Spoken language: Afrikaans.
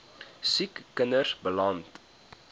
siek kinders beland